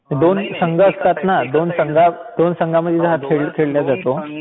दोन संघ असतात ना, दोन संघामध्ये हा खेळ खेळला जातो